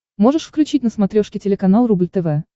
можешь включить на смотрешке телеканал рубль тв